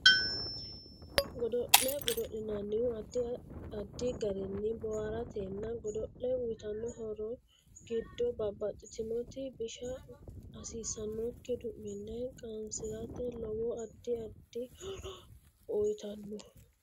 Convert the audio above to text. Godo'le godo'linanihu addi addi garinni booharateeti godo'le uyiitanno horo giddo babbaxitinoti bisha hasiisanokki du'mille qanasirate lowo addi addi horo uyiitanno